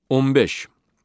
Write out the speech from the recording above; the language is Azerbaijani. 15.